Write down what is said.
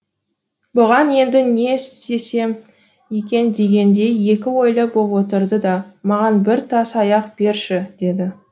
бұған енді не істесем екен дегендей екі ойлы боп отырды да маған бір тас аяқ берші деді